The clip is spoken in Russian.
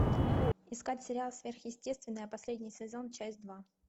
искать сериал сверхъестественное последний сезон часть два